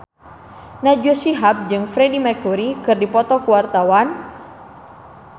Najwa Shihab jeung Freedie Mercury keur dipoto ku wartawan